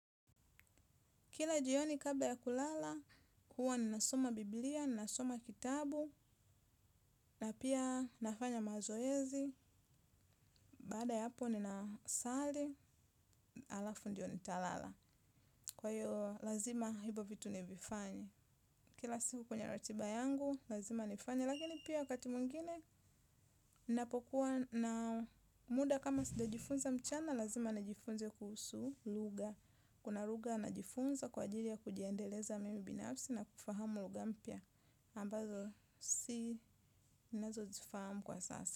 Kila jioni kabla ya kulala, huwa ni nasoma bibilia, nasoma kitabu, na pia nafanya mazoezi, baada ya hapo ninasali, alafu ndiyo nitalala. Kwa hiyo, lazima hibo vitu ni vifanye. Kila siku kwenye ratiba yangu, lazima nifanye, lakini pia wakati mwingine, napokuwa na muda kama sijajiifunza mchana, lazima nijifunze kuhusu lugha. Kuna lugha najifunza kwa ajiri ya kujiendeleza mimi binafsi na kufahamu lugha mpya. Ambazo si inazozifahamu kwa sasa.